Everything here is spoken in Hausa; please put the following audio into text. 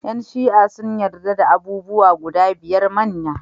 Yan Shi'a sun yadda da abubuwa guda biyar manya.